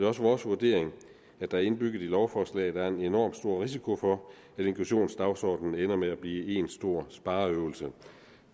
også vores vurdering at der indbygget i lovforslaget er en enormt stor risiko for at inklusionsdagsordenen ender med at blive en stor spareøvelse